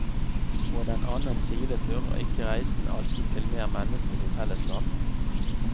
På den annen side fører ikke reisen alltid til mer menneskelig fellesskap.